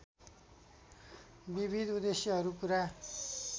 विविध उद्देश्यहरु पूरा